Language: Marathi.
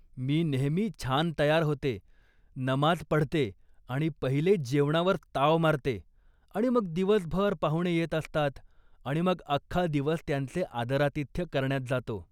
मी नेहेमी छान तयार होते, नमाज पडते आणि पहिले जेवणावर ताव मारते आणि मग दिवसभर पाहुणे येत असतात आणि मग अख्खा दिवस त्यांचे आदरातिथ्य करण्यात जातो.